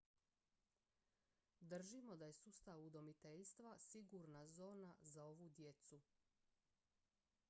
držimo da je sustav udomiteljstva sigurna zona za ovu djecu